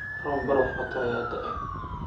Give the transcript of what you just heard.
Roob baraf wato aya da'ay.